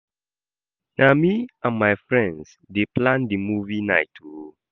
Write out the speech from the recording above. Na me and my friends dey plan di movie night o.